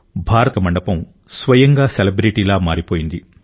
భారత వేదిక మండపం స్వయంగా సెలబ్రిటీలా మారిపోయింది